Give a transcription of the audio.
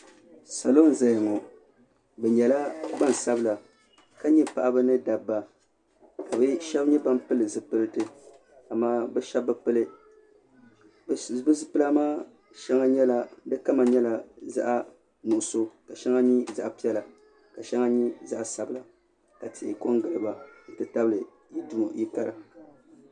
Salo n zaya ŋɔ bi nyɛla gbansabila ka nyɛ paɣaba ni dabba ka bi shɛba nyɛ ban pili zipiliti a maa bi shɛba bi pili bi zipila maa kama nyɛla zaɣa nuɣusu ka shɛŋa nyɛ zaɣa piɛla ka shɛŋa nyɛ zaɣa sabila ka tihi ko n giliba n ti tabili yili kara.